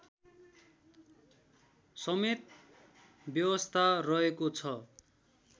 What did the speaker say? समेत व्यवस्था रहेको छ